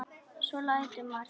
Svo lætur maður þorna.